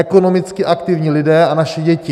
Ekonomicky aktivní lidé a naše děti.